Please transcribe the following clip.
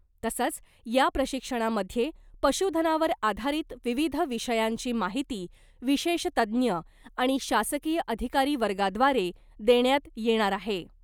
तसंच या प्रशिक्षणामध्ये पशुधनावर आधारित विविध विषयांची माहिती विशेष तज्ज्ञ आणि शासकीय अधिकारी वर्गाद्वारे देण्यात येणार आहे .